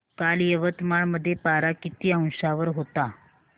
काल यवतमाळ मध्ये पारा किती अंशावर होता